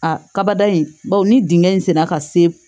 A kabada in bawo ni dingɛn senna ka se